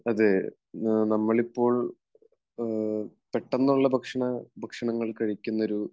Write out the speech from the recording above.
അതെ. നമ്മളിപ്പോൾ പെട്ടന്നുള്ള ഭക്ഷണങ്ങൾ കഴിക്കുന്ന ഒരു